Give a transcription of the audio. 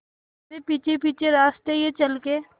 तेरे पीछे पीछे रास्ते ये चल के